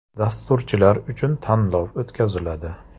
Dasturchilar uchun tanlov o‘tkaziladi.